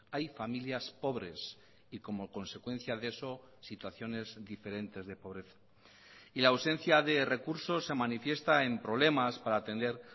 hay familias pobres y como consecuencia de eso situaciones diferentes de pobreza y la ausencia de recursos se manifiesta en problemas para atender